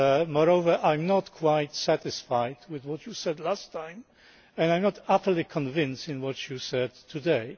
Moreover, I am not quite satisfied with what you said last time, and I am not utterly convinced by what you said today.